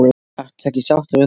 Ertu ekki sáttur við það?